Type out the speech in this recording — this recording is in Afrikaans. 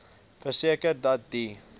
verseker dat die